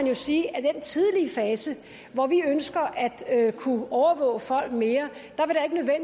jo sige at i den tidlige fase hvor vi ønsker at kunne overvåge folk mere